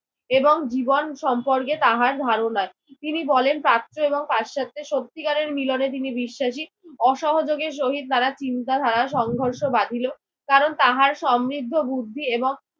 এবং জীবন সম্পর্কে তাহার ধারণা। তিনি বলেন প্রাচ্য এবং পাশ্চাত্যের সত্যিকারের মিলনে তিনি বিশ্বাসী। অসহযোগের সহিত তারা চিন্তা ধারার সংঘর্ষ বাধিল। কারণ তাহার সমৃদ্ধ বুদ্ধি এবং